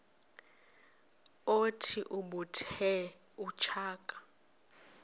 othi ubethe utshaka